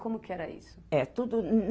Como que era isso? É, tudo